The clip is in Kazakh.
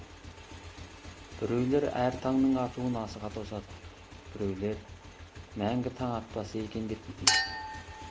біреулер әр таңның атуын асыға тосады біреулер мәңгі таң атпаса екне деп тілейді